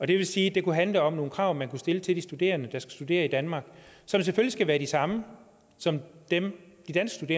det vil sige det kunne handle om nogle krav man kunne stille til de studerende der studerer i danmark som selvfølgelig skal være de samme som dem de danske